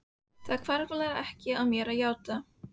Það hvarflar ekki að mér að játa.